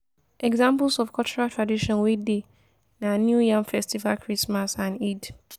examples of cultural tradition wey dey na new yam festival christmas and eid